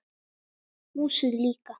Húsið líka.